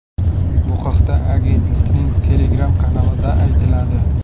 Bu haqda agentlikning Telegram-kanalida aytiladi .